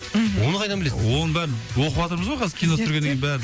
мхм оны қайдан білесің оның бәрін оқыватырмыз ғой қазір кино түсіргеннен кейін бәрін